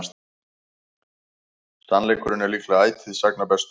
Sannleikurinn er líklega ætíð sagna bestur.